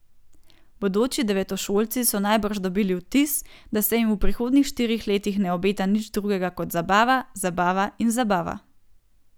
Bodoči devetošolci so najbrž dobili vtis, da se jim v prihodnjih štirih letih ne obeta nič drugega kot zabava, zabava in zabava.